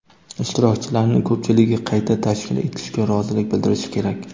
Ishtirokchilarning ko‘pchiligi qayta tashkil etishga rozilik bildirishi kerak.